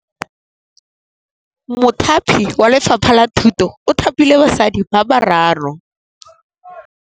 Mothapi wa Lefapha la Thutô o thapile basadi ba ba raro.